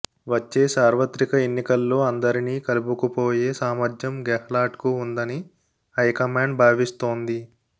వచ్చే సార్వత్రిక ఎన్నికల్లో అందరిని కలుపుకు పోయే సామర్త్యం గెహ్లాట్కు ఉందని హైకమాండ్ భావిస్తోంది